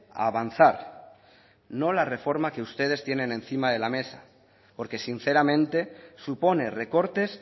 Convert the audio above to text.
a avanzar no la reforma que ustedes tienen encima de la mesa porque sinceramente supone recortes